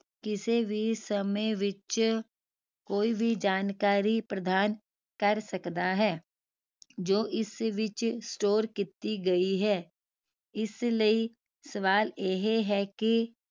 ਕਿਸੇ ਵੀ ਸਮੇ ਵਿਚ ਕੋਈ ਵੀ ਜਾਣਕਾਰੀ ਪ੍ਰਦਾਨ ਕਰ ਸਕਦਾ ਹੈ ਜੋ ਇਸ ਵਿਚ store ਕੀਤੀ ਗਈ ਹੈ ਇਸ ਲਈ ਸਵਾਲ ਇਹ ਹੈ ਕਿ